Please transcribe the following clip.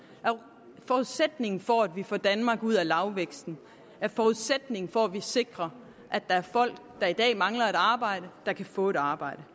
er forudsætningen for at vi får danmark ud af lavvæksten er forudsætningen for at vi sikrer at der er folk der i dag mangler et arbejde der kan få et arbejde